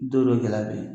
Don dɔ gɛlɛya bɛ yen